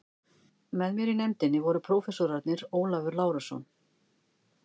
Með mér í nefndinni voru prófessorarnir Ólafur Lárusson